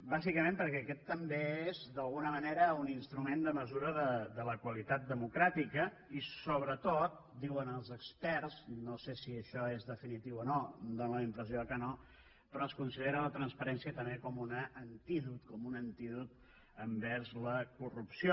bàsicament perquè aquest també és d’alguna manera un instrument de mesura de la qualitat democràtica i sobretot diuen els experts no sé si això és definitiu o no fa la impressió que no es considera la transparència també com un antídot com un antídot envers la corrupció